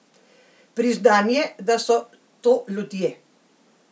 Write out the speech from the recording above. Priznanje, da so to ljudje?